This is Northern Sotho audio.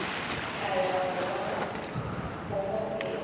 tla ya go ba kokotela